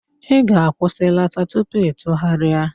Ị ga-akwụsịlata tupu ịtụgharịa!